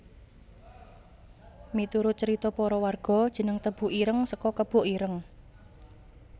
Miturut carita para warga jeneng Tebu Ireng saka kebo ireng